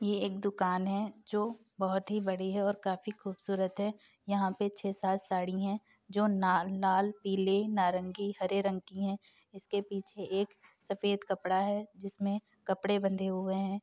ये एक दुकान है जो बहुत ही बड़ी है और काफी खूबसूरत है| यहाँ पे छे सात साड़ी है जो नाल लाल पीले नारंगी हरे रंग की है इसके पीछे एक सफ़ेद कपड़ा है जिसमें कपड़े बंधे हुए हैं।